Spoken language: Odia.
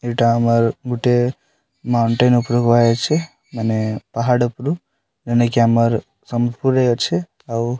ଏଇଟା ଆମାର ଗୁଟେ ମାଉଣ୍ଟେନ ଉପରେ କୁହା ଯାଇଛି ମାନେ ପାହାଡ ଉପରୁ ଜେନଟାକି ଆମାର ସମ୍ବଲପୁରରେ ଅଛେ ଆଉ --